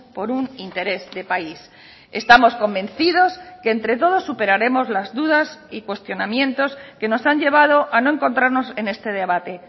por un interés de país estamos convencidos que entre todos superaremos las dudas y cuestionamientos que nos han llevado a no encontrarnos en este debate